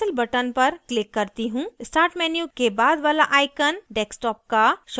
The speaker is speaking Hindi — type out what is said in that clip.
start menu के बाद वाला icon desktop का shortcut icon है